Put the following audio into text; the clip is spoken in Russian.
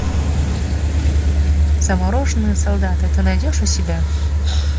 замороженный солдат ты найдешь у себя